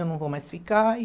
Eu não vou mais ficar e...